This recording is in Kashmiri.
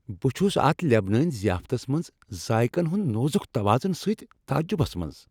بہٕ چھ اتھ لبنٲنۍ ضیافتس منٛز ذائقن ہنٛد نازک توازن سۭتۍ تعجبس منز۔